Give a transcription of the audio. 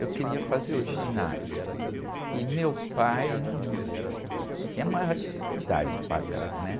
Eu queria fazer o ginásio e meu pai, hum, tinha a maior dificuldade de pagar, né?